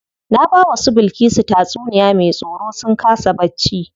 Na bawa su Bilkisu tatsuniya me tsoro sun kasa bacci.